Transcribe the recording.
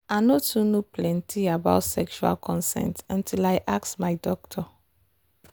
i no too know plenty about sexual consent until i ask my doctor.